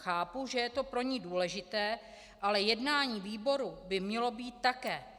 Chápu, že je to pro ní důležité, ale jednání výboru by mělo být také.